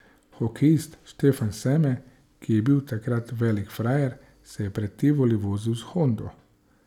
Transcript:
Hokejist Štefan Seme, ki je bil takrat velik frajer, se je pred Tivoli vozil s Hondo.